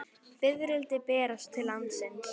Fiðrildi berast til landsins